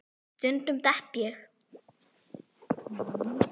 Stundum dett ég.